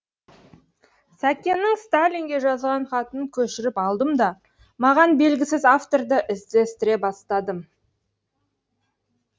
сәкеннің сталинге жазған хатын көшіріп алдым да маған белгісіз авторды іздестіре бастадым